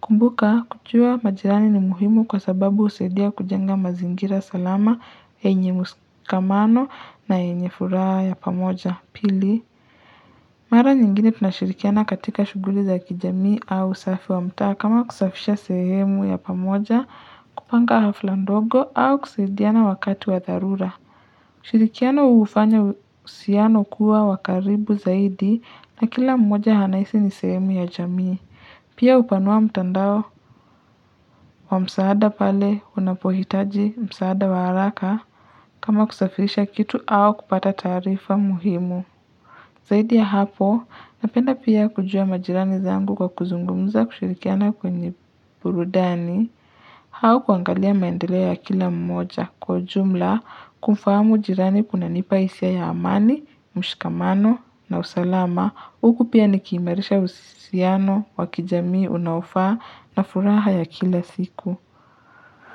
Kumbuka kujua majirani ni muhimu kwa sababu husaidia kujenga mazingira salama yenye mshikamano na yenye furaha ya pamoja pili. Mara nyingine tunashirikiana katika shughuli za kijamii au usafi wa mtaa kama kusafisha sehemu ya pamoja kupanga hafla ndogo au kusaidiana wakati wa dharura. Shirikiano hufanya uhusiano kuwa wa karibu zaidi na kila mmoja anahisi ni sehemu ya jamii. Pia hupanua mtandao wa msaada pale unapohitaji msaada wa haraka kama kusafirisha kitu au kupata taarifa muhimu. Zaidi ya hapo, napenda pia kujua majirani zangu kwa kuzungumza kushirikiana kwenye burudani au kuangalia maendeleo ya kila mmoja kwa jumla kumfahamu jirani kunanipah isia ya amani, mshikamano na usalama. Huku pia nikiimarisha uhusiano, wa kijamii, unaofaa na furaha ya kila siku.